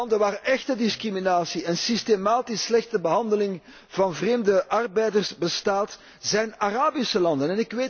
De landen waar echte discriminatie en systematisch slechte behandeling van vreemde arbeiders bestaat, zijn Arabische landen.